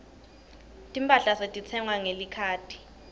timphahla setitsengwa ngelikhadi